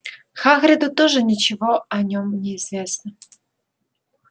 хагриду тоже ничего о нём не известно